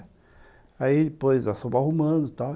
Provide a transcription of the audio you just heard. É. Aí, depois, nós fomos arrumando e tal.